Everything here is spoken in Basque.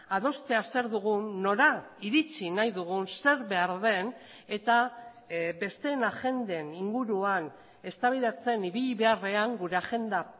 adostea zer dugun nora iritsi nahi dugun zer behar den eta besteen agenden inguruan eztabaidatzen ibili beharrean gure agenda